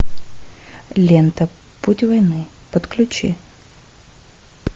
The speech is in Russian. лента путь войны подключи